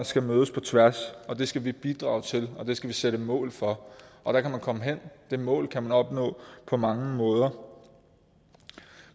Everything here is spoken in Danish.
skal mødes på tværs det skal vi bidrage til og det skal vi sætte mål for og der kan man komme hen det mål kan man opnå på mange måder